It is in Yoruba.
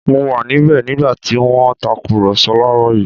Mo wà níbẹ̀ nígbà tí wọ́n ń tàkùrọ̀sọ láàrọ̀ yìí